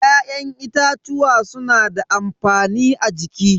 Ya'yan itatuwa suna da amfani a jiki.